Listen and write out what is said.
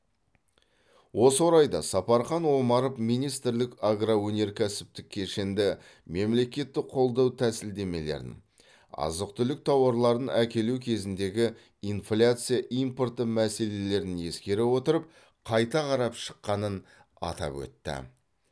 осы орайда сапархан омаров министрлік агроөнеркәсіптік кешенді мемлекеттік қолдау тәсілдемелерін азық түлік тауарларын әкелу кезіндегі инфляция импорты мәселелерін ескере отырып қайта қарап шыққанын атап өтті